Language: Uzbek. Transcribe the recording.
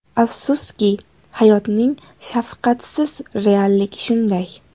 Afsuski, hayotning shafqatsiz realligi shunday.